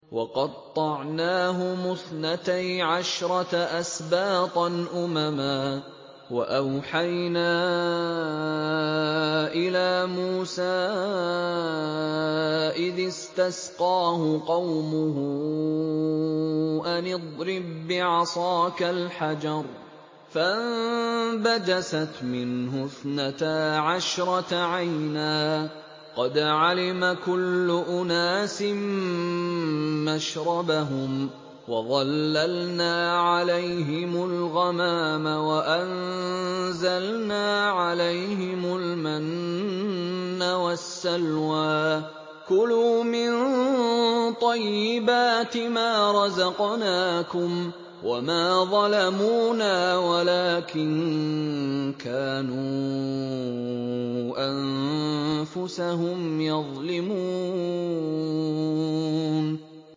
وَقَطَّعْنَاهُمُ اثْنَتَيْ عَشْرَةَ أَسْبَاطًا أُمَمًا ۚ وَأَوْحَيْنَا إِلَىٰ مُوسَىٰ إِذِ اسْتَسْقَاهُ قَوْمُهُ أَنِ اضْرِب بِّعَصَاكَ الْحَجَرَ ۖ فَانبَجَسَتْ مِنْهُ اثْنَتَا عَشْرَةَ عَيْنًا ۖ قَدْ عَلِمَ كُلُّ أُنَاسٍ مَّشْرَبَهُمْ ۚ وَظَلَّلْنَا عَلَيْهِمُ الْغَمَامَ وَأَنزَلْنَا عَلَيْهِمُ الْمَنَّ وَالسَّلْوَىٰ ۖ كُلُوا مِن طَيِّبَاتِ مَا رَزَقْنَاكُمْ ۚ وَمَا ظَلَمُونَا وَلَٰكِن كَانُوا أَنفُسَهُمْ يَظْلِمُونَ